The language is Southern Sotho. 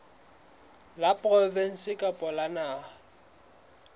la provinse kapa la naha